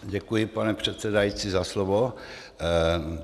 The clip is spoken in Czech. Děkuji, pane předsedající, za slovo.